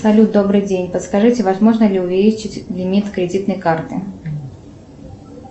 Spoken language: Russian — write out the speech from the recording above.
салют добрый день подскажите возможно ли увеличить лимит кредитной карты